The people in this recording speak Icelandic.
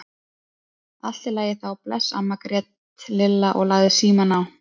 Allt í lagi þá, bless amma grét Lilla og lagði símann á.